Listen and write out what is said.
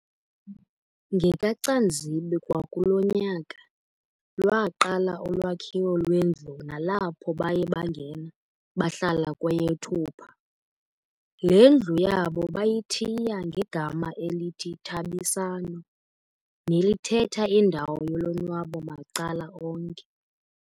NgekaCanzibe kwakulo nyaka, lwaqala ulwakhiwo lwendlu nalapho baye bangena bahlala kweyeThupha. Le ndlu yabo bayithiya ngegama elithi "Thabisano" nelithetha indawo yolonwabo macala onke.